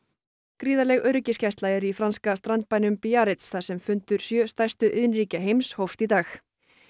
gríðarleg öryggisgæsla er í franska strandbænum Biarritz þar sem fundur sjö stærstu iðnríkja heims hófst í dag